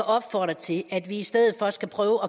opfordre til at vi i stedet for skal prøve